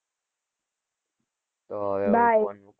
તો હવે ફોન મુકું